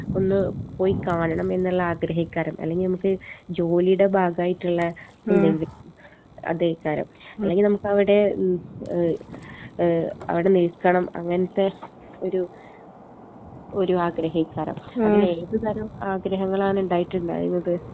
ഒന്ന് പോയി കാണണം എന്നുള്ള ആഗ്രഹെക്കാരം അല്ലെങ്കി നമ്മക്ക് ജോലിടെ ഭാഗായിട്ട്ളേ അതേക്കാരം അല്ലെങ്കി നമ്മക്ക് അവിടെ ഉം ഏഹ് ഏഹ് അവിടെ മേക്കണം അങ്ങനത്തെ ഒരു ഒരു ആഗ്രഹെക്കാരം നമ്മൾ ഏത് ഏത് തരം ആഗ്രഹങ്ങളാണ് ഇണ്ടായിട്ട് ഇണ്ടായ്ന്നത്